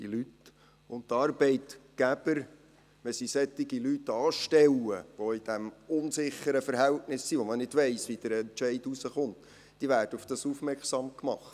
Die Arbeitgeber, die solche Leute anstellen, die in diesem unsicheren Verhältnis sind, während man nicht weiss, wie der Entscheid herauskommt, werden darauf aufmerksam gemacht.